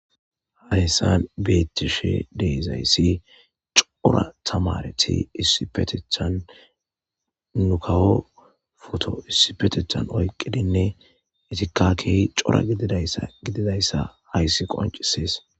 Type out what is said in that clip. hahyssan beettishe deezayssi cora tamareti issipetethan nukawo foto issipetethan oyqqidinne itika kehi cora gididaysa gididayssa hayssi qoncisees